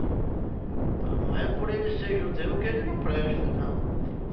Então, não é por ele ser judeu que ele não presta, não.